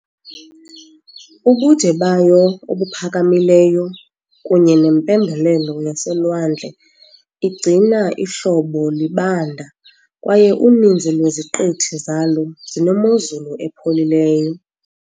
Ubude bayo obuphakamileyo kunye nempembelelo yaselwandle igcina ihlobo libanda, kwaye uninzi lweziqithi zalo zinemozulu epholileyo .